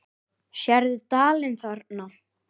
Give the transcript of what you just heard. Sérðu dalinn þarna?